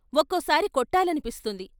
ఒక్కోసారి కొట్టాలనిపిస్తుంది....